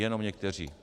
Jenom někteří.